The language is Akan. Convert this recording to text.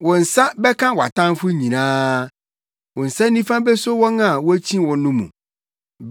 Wo nsa bɛka wʼatamfo nyinaa; wo nsa nifa beso wɔn a wokyi wo no mu.